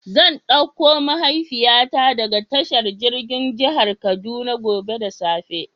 Zan ɗauko mahaifiya ta daga tashar jirgin jihar kaduna gobe da safe.